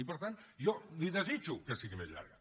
i per tant jo li ho desitjo que sigui més llarga